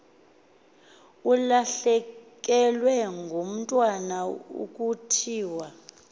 ulahlekelwe ngumntwana kuthiwe